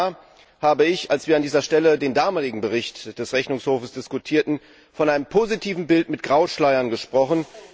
Vor einem Jahr habe ich, als wir an dieser Stelle den damaligen Bericht des Rechnungshofs diskutierten, von einem positiven Bild mit Grauschleiern gesprochen.